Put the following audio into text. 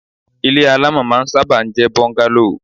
Ile alamọ máa ń sábà ń jẹ bungalow